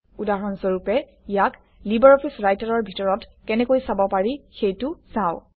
উদাহৰণ স্বৰূপে ইয়াক লিবাৰঅফিছ ৰাইটাৰৰ ভিতৰত কেনেকৈ চাব পাৰি সেইটো চাওঁ